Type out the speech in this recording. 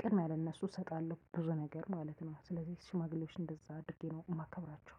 ቅድሚያ ለነሱ እሰጣለሁ ብዙ ነገር ማለት ነው። ስለዚህ ሽማግሌዎች እንደዛ አድርጌ ነው ማከብራቸው።